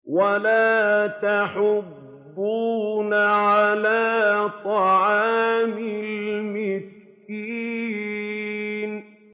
وَلَا تَحَاضُّونَ عَلَىٰ طَعَامِ الْمِسْكِينِ